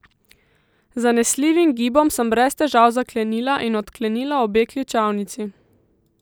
Z zanesljivim gibom sem brez težav zaklenila in odklenila obe ključavnici.